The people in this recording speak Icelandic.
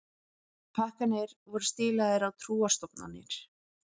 Pakkarnir voru stílaðir á trúarstofnanir